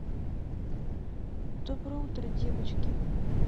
доброе утро девочки